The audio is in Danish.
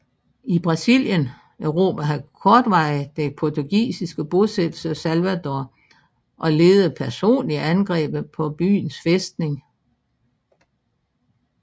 I Brasilien erobrede han kortvarigt den portugisiske bosættelse Salvador og ledede personligt angrebet på byens fæstning